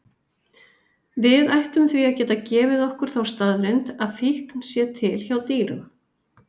Við ættum því að geta gefið okkur þá staðreynd að fíkn sé til hjá dýrum.